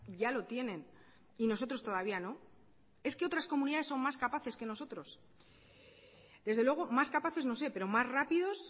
ya lo tienen y nosotros todavía no es que otras comunidades son más capaces que nosotros desde luego más capaces no sé pero más rápidos